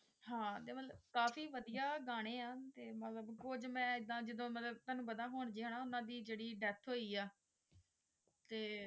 ਹਾਂ ਤ੍ਲਤੇ ਬ ਕਾਫੀ ਵਧੀਆ ਗਾਣੇ ਆ ਤੇ ਮਤਲਬ ਕੁਝ ਮੈਂ ਐਦਾਂ ਜਿੱਦਾਂ ਮਤਲਬ ਤੁਹਾਨੂੰ ਪਤਾ ਹੁਣ ਜਿਹੇ ਉਨ੍ਹਾਂ ਦੀ ਜਿਹੜੀ Death ਹੋਈ ਹੈ ਯਤੇ